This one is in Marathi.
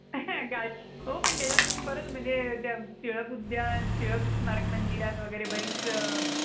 garden हो पण त्याच्यात तुम्ही बरच म्हणजे टिळक उद्यान टिळक स्मारक मंदिरात वगैरे बरीच